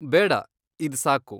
ಬೇಡ, ಇದ್ ಸಾಕು.